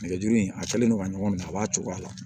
Nɛgɛjuru in a kɛlen don ka ɲɔgɔn minɛ a b'a cogoya la